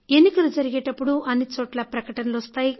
ఎన్నికలు జరిగేటప్పుడు అన్నిచోట్ల ప్రకటనలు వస్తాయి